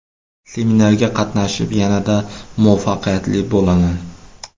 Seminarga qatnashib yanada muvaffaqiyatli bo‘laman!